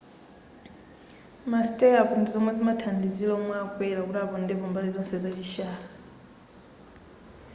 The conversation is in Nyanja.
ma stirrup ndizomwe zimathandizira omwe akwera kuti apondepo mbali zonse za chishalo